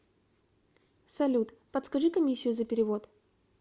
салют подскажи комиссию за перевод